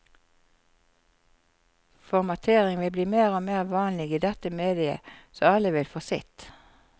Formatering vil bli mer og mer vanlig i dette mediet, så alle vil få sitt.